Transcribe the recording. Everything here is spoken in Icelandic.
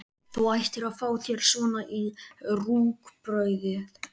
Þú ættir að fá þér svona í rúgbrauðið!